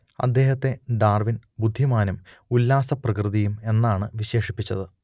അദ്ദേഹത്തെ ഡാർവിൻ ബുദ്ധിമാനും ഉല്ലാസപ്രകൃതിയും എന്നാണ് വിശേഷിപ്പിച്ചത്